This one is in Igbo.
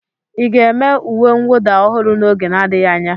Ị ga-eme uwe mwụda ọhụrụ n'oge n'adịghị anya?